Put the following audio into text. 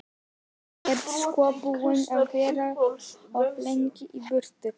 Þú ert sko búinn að vera of lengi í burtu.